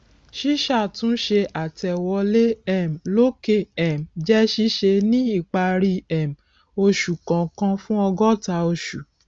ṣísàtúnṣe àtẹwolé um lòkè um jẹ ṣíṣe ní ìparí um oṣù kọọkan fún ọgọta oṣù